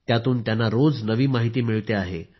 त्यातून त्यांना योज नवी माहिती मिळते आहे